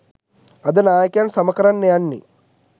අද නායකයන් සම කරන්න යන්නෙ